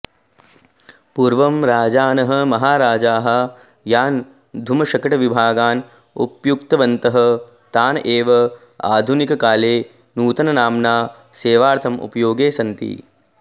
पूर्वं राजानः महाराजाः यान् धूमशकटविभागान् उपयुक्तवन्तः तान् एव आधुनिककाले नूतननाम्ना सेवार्थम् उपयोगे सन्ति